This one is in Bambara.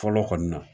Fɔlɔ kɔni na